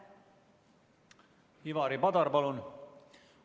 Ivari Padar, palun!